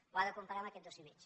ho ha de comparar amb aquest dos i mig